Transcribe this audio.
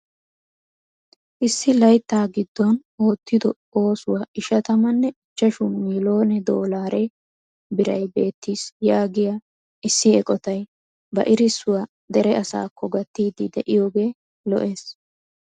Issi layttaa giddon oottido oosuwaan ishatamanne ichchashshu miilone doolare biray beettis yaagiyaa issi eqotay ba erissuwaa dere asaakko gattiidi de'iyoogee lo"ees!